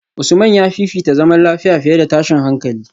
Usman ya fifita zaman lafiya fiye da tashin hankali